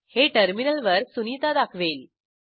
हे टर्मिनलवर सुनिता दाखवेल